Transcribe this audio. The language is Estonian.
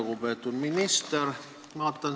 Lugupeetud minister!